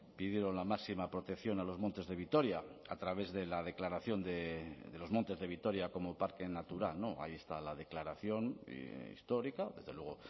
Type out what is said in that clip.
pidieron la máxima protección a los montes de vitoria a través de la declaración de los montes de vitoria como parque natural ahí está la declaración histórica desde luego